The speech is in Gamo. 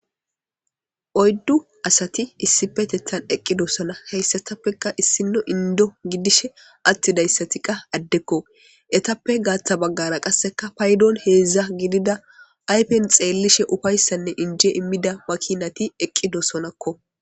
oyddu asati issipetethan eqqidosona heyssatappeka issino indo gidishe attidayssati qa addekko etappe gaatha baggara qasseka paydoon heedzdza gidida aypen xeellishe ufayssanne injie immida makinati eqqidosonakko